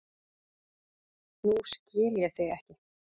Nú skil ég þig ekki.